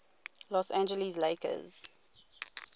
los angeles lakers